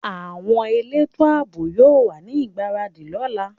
Àwọn elétò àbò yóò wà ní ìgbáradì lọ́la